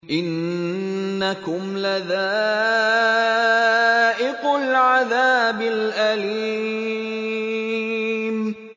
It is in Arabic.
إِنَّكُمْ لَذَائِقُو الْعَذَابِ الْأَلِيمِ